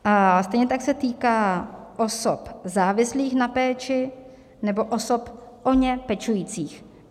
A stejně tak se týká osob závislých na péči nebo osob o ně pečujících.